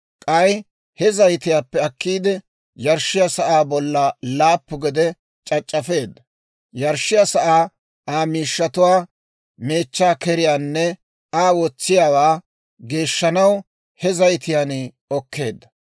K'ay he zayitiyaappe akkiide, yarshshiyaa sa'aa bolla laappu gede c'ac'c'afeedda; yarshshiyaa sa'aa, Aa miishshatuwaa, meechchaa keriyaanne Aa wotsiyaawaa, geeshshanaw he zayitiyaan okkeedda.